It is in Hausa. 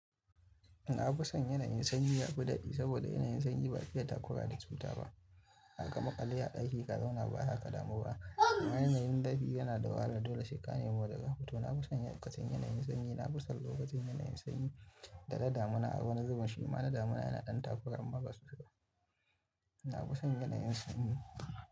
Na fi son yanayin sanyi ya fi daɗi saboda yanayin sanyi ba'a fiye takura da cuta ba. Haka maƙe a daki ka zauna ba haka damu ba. Yanayin zafi yana da wahala dole sai ka na fi son lokacin yanayin sanyi, na fi son lokacin yanayin sanyi da na damina a wani zubin shi ma na damina yana ɗan takura amma ba na fi son yanayin sanyi.